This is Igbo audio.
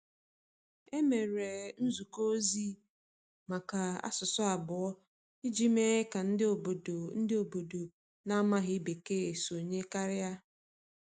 E mere nzukọ ozi nke asụsụ abụọ iji mee ka ndị obodo ndị obodo na-amaghị Bekee sonye karịa.